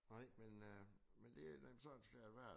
Nej men øh men det nok sådan skal det være